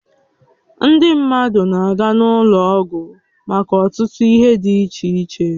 Ndị mmadụ na-aga n'ụlọ ọgwụ maka ọtụtụ ihe dị iche iche